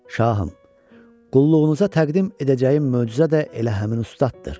Şahım, qulluğunuza təqdim edəcəyim möcüzə də elə həmin ustaddır.